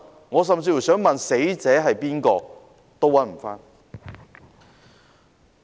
我甚至想問問死者是誰，也找不到。